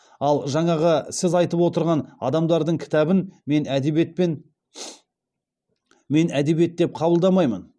ал жаңағы сіз айтып отырған адамдардың кітабын мен әдебиет деп қабылдамаймын